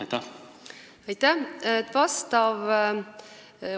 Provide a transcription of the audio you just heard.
Aitäh!